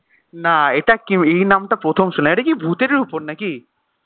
না এটা কি এই নামটা প্রথম শুনলাম এটা কি ভুতের ওপর নাকি?